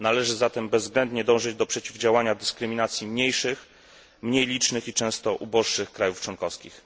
Należy zatem bezwzględnie dążyć do przeciwdziałania dyskryminacji mniejszych, mniej licznych i często uboższych krajów członkowskich.